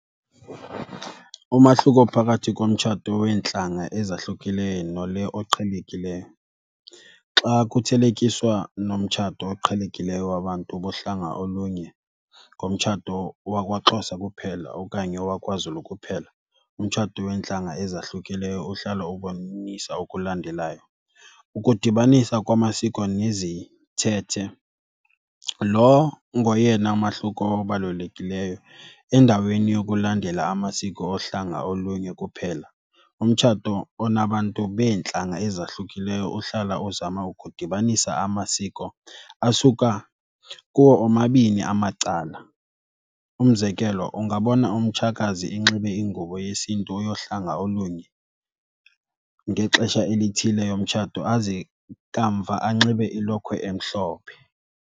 Umahluko phakathi komtshato weentlanga ezahlukileyo nole oqhelekileyo, xa kuthelekiswa nomtshato oqhelekileyo wabantu bohlanga olunye ngomtshato wakwaXhosa kuphela okanye wakwaZulu kuphela, umtshato weentlanga ezahlukileyo uhlala ubonisa okulandelayo. Ukudibanisa kwamasiko nezithethe, lo ngoyena mahluko obalulekileyo. Endaweni yokulandela amasiko ohlanga olunye kuphela, umtshato onabantu beentlanga ezahlukileyo uhlala uzama ukudibanisa amasiko asuka kuwo omabini amacala. Umzekelo, ungabona umtshakazi enxibe ingubo yesiNtu yohlanga olunye ngexesha elithile yomtshato aze kamva anxibe ilokhwe emhlophe.